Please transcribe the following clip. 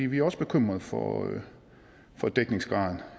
vi er også bekymret for for dækningsgraden